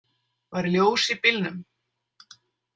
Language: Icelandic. Var ljós í bílnum?